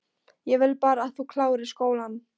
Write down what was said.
Ég vil bara að þú klárir skólann